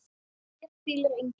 HÉR HVÍLIR ENGINN